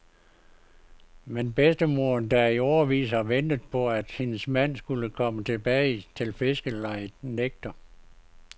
Men bedstemoderen, der i årevis har ventet på at hendes mand skulle komme tilbage til fiskerlejet, nægter.